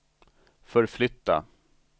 förflytta